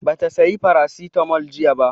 Ba ta saya Farasitamol jiya ba